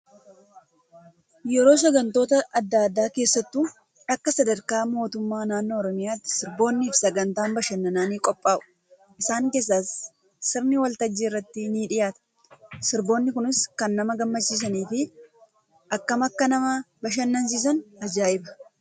Yeroo sagantoota adda addaa keessattuu Akka sadarkaa mootummaa naannoo oromiyaatti sirboonnii fi sagantaan bashannanaa ni qophaa'u. Isaan keessaa sirni waltajjii irratti ni dhiyaata. Sirboonni Kunis kan nama gammachiisan fi akkam Akka nama bashannansiisan ajaa'ibaa